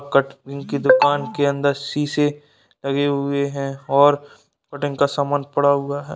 Cutting की दूकान के अंदर शीशे लगे हुए हैं और पतंग का सामान पड़ा हुआ हैं।